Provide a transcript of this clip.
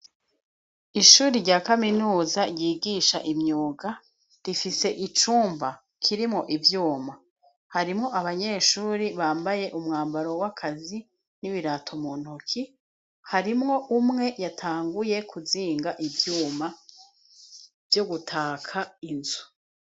Ishure rya kaminuza ryigisha imyuga rifise icumba kirimwo ivyuma. Harimwo abanyeshure bambaye umwambaro w'akazi n'ibirato mu ntoke ,harimwo umwe yatanguye kuzinga ivyuma vyo gutaka inzu.